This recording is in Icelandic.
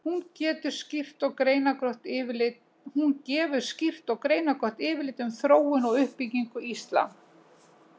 Hún gefur skýrt og greinargott yfirlit um þróun og uppbyggingu íslam.